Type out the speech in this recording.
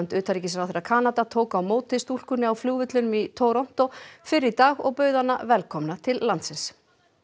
utanríkisráðherra Kanada tók á móti stúlkunni á flugvellinum í Toronto fyrr í dag og bauð hana velkomna til landsins